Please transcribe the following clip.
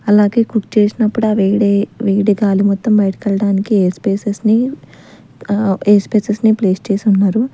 అలాగే కుక్ చేసినపుడు ఆ వేడి వేడి గాలి మొత్తం బయటకి ఎళ్ళడానికి ఎయిర్ స్పెసెస్ నీ ఆ ఎయిర్ స్పెసెస్ నీ ప్లేస్ చేసి ఉన్నారు.